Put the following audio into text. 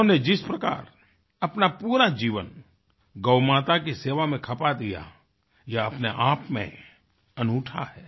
उन्होंने जिस प्रकार अपना पूरा जीवन गौमाता की सेवा में खपा दिया ये अपने आप में अनूठा है